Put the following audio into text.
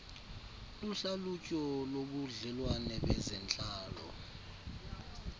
luhlalutyo lobudlelwane bezentlalo